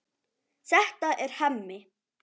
Þetta er Hemmi.